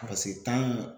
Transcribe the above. Ka se tan in